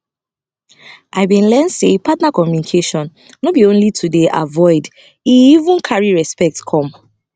i been learn say partner communication no be only to dey avoid e even carry respect come